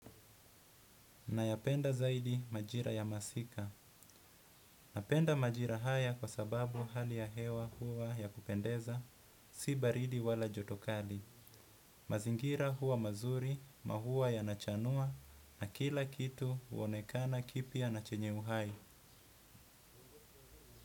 Nayapenda zaidi majira ya masika. Napenda majira haya kwa sababu hali ya hewa hua ya kupendeza, si baridi wala jotokali. Mazingira hua mazuri mahua yanachanua na kila kitu uonekana kipia na chenye uhai.